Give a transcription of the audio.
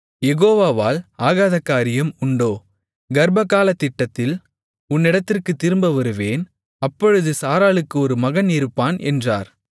யெகோவாவால் ஆகாத காரியம் உண்டோ கர்ப்பகாலத்திட்டத்தில் உன்னிடத்திற்குத் திரும்ப வருவேன் அப்பொழுது சாராளுக்கு ஒரு மகன் இருப்பான் என்றார்